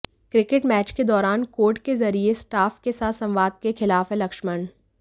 cricket match के दौरान code के जरिए स्टाफ के साथ संवाद के खिलाफ हैं लक्ष्मण